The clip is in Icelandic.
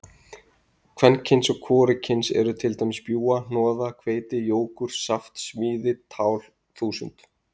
Kvenkyns og hvorugkyns eru til dæmis bjúga, hnoða, hveiti, jógúrt, saft, smíði, tál, þúsund.